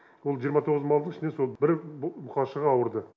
сол жиырма тоғыз малдың ішінен сол бір бұқашық ауырды